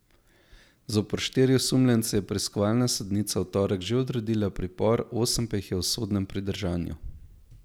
Zoper štiri osumljence je preiskovalna sodnica v torek že odredila pripor, osem pa jih je v sodnem pridržanju.